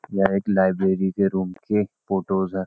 यह एक लाइब्रेरी के रूम की एक फोटो हैं।